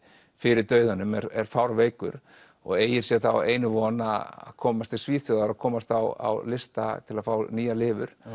fyrir dauðanum er fárveikur og eygir þá einu von að komast til Svíþjóðar og komast á lista til að fá nýja lifur